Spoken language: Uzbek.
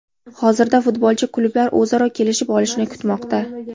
Hozirda futbolchi klublar o‘zaro kelishib olishini kutmoqda.